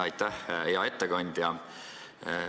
Aitäh, hea ettekandja!